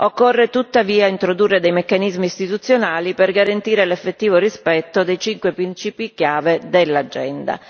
Occorre tuttavia introdurre dei meccanismi istituzionali per garantire l'effettivo rispetto dei cinque principi chiave dell'agenda.